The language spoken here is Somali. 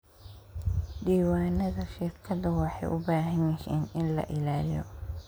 Diiwaanada shirkadu waxay u baahan yihiin in la ilaaliyo.